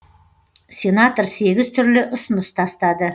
сенатор сегіз түрлі ұсыныс тастады